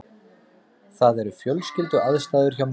Það eru fjölskylduaðstæður hjá mér.